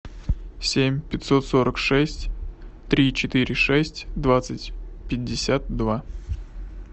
семь пятьсот сорок шесть три четыре шесть двадцать пятьдесят два